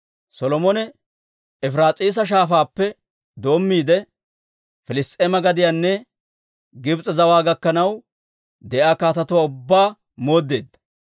Solomone Efiraas'iisa Shaafaappe doommiide, Piliss's'eema gadiyanne Gibs'e zawaa gakkanaw de'iyaa kaatetuwaa ubbaa mooddeedda.